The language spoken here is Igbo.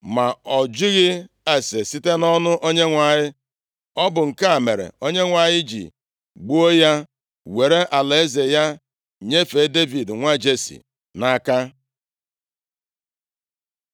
ma ọ jụghị ase site nʼọnụ Onyenwe anyị. Ọ bụ nke a mere Onyenwe anyị ji gbuo ya, were alaeze ya nyefee Devid nwa Jesi nʼaka.